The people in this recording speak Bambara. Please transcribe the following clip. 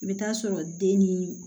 I bɛ taa sɔrɔ den ni